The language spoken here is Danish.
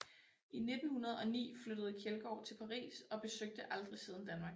I 1909 flyttede Kjeldgaard til Paris og besøgte aldrig siden Danmark